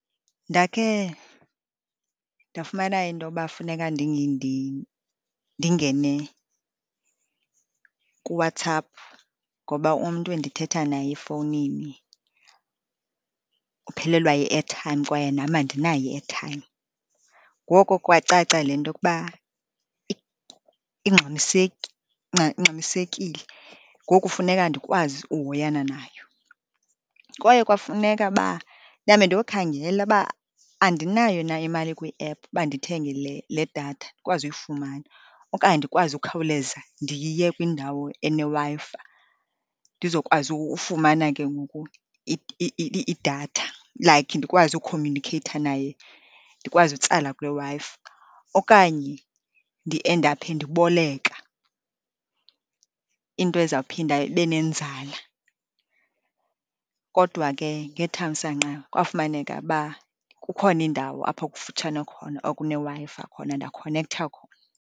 Ndakhe ndafumana intoba funeka ndingene kuWhatsApp ngoba umntu endithetha naye efowunini uphelelwa yi-airtime kwaye nam andinayo i-airtime. Ngoko kwacaca le nto yokuba ingxamisekile, ngoku funeka ndikwazi uhoyana nayo. Kwaye kwafuneka uba ndihambe ndiyokhangela uba andinayo na imali kwiephu uba ndithenge le datha, ndikwazi uyifumana okanye ndikwazi ukukhawuleza ndiye kwindawo eneWi-Fi, ndizokwazi ufumana ke ngoku idatha, like, ndikwazi ukhomyunikheyitha naye, ndikwazi utsala kule Wi-Fi, okanye ndiendaphe ndiboleka, into ezawuphinda ibe nenzala. Kodwa ke ngethamsanqa, kwafumaneka uba kukhona indawo apho kufutshane khona okuneWi-Fi khona, ndakhonektha khona.